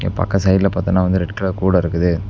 இந்தப்பக்க சைடுல பாத்தன்ன வந்து ரெட் கலர் கூட இருக்குது.